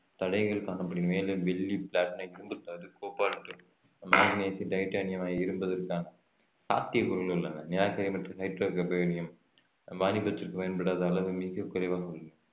தடைகள் காணப்படுகி~ மேலும் வெள்ளி பிளாட்டினம் இரும்புத்தாது கோபால்ட் மாங்கனீசு டைட்டானியம் இருப்பதற்கான உள்ளன வாணிபத்திற்கு பயன்படாத அளவு மிக குறைவாக உள்ளது